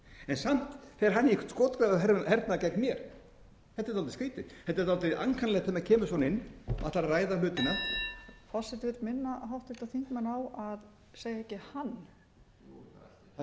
samt fer hann í skotgrafahernað gegn mér þetta er dálítið skotið þetta er dálítið ankannalegt þegar maður kemur svona inn ætlar að ræða hlutina forseti vill minna háttvirtir þingmenn á að segja ekki hann segja hæstvirtur fjármálaráðherra eins og er